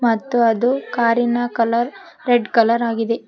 ಮತ್ತು ಅದು ಕಾರಿನ ಕಲರ್ ರೆಡ್ ಕಲರ್ ಆಗಿದೆ.